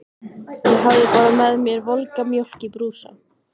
Ég hafði bara með mér volga mjólk í brúsa.